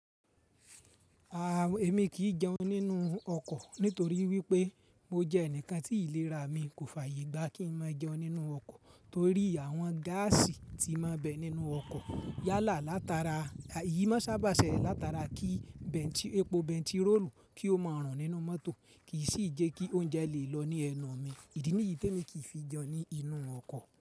A, èmi kì í jẹun nínú ọkọ̀ nítorí wípé mo jẹ ẹnìkan tí ìlera mi kò fàyè gbá kí n máa jẹun nínú ọkọ̀ torí àwọn gáàsì tí ma ń bẹ nínú ọkọ̀ yálà látara, yìí ma sábà ṣẹlẹ̀ látara kí epo bẹntiróòlù kí o máa rùn nínú mọ́tò kì í sì jẹ́ kí oúnjẹ lè lọ ní ẹnu mi. Ìdí nìyí tí èmi kì í fi jẹun ní inú ọkọ̀